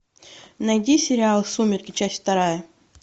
найди сериал сумерки часть вторая